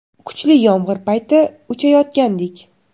Kuchli yomg‘ir payti uchayotgandik.